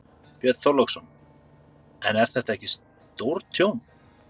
Björn Þorláksson: En er þetta ekki stórtjón?